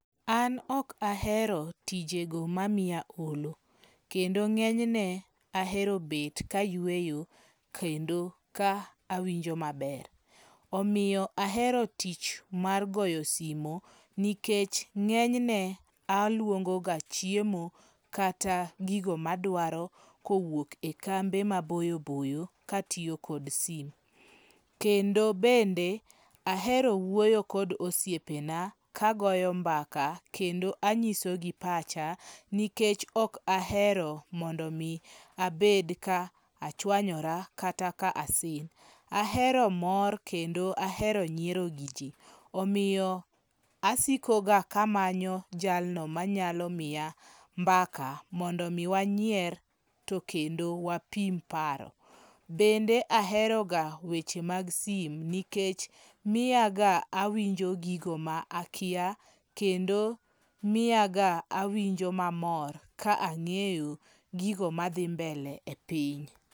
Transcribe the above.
An ok ahero tijego mamiya olo. Kendo ng'enyne ahero bet ka ayueyo kendo ka awinjo maber. Omiyo ahero tich mar goyo simo nikech ng'enyne aluongo ga chiemo kata gigo madwaro kowuok e kambe maboyo boyo katiyo kod simu. Kendo bende ahero wuoyo kod osiepe na kagoyo mbaka kendo anyisogi pacha nikech ok ahero mondo mi abed ka achwanyora kata ka asin. Ahero mor kendo ahero nyiero gi ji. Omiyo asiko ga kamanyo jalno manyalo miya mbaka mondo mi wanyier to kendo wapim paro. Bende ahero ga weche mag simo nikech miya ga awinjo gigo ma akia kendo mia ga awinjo mamor ka ang'eyo gigo madhi mbele e piny.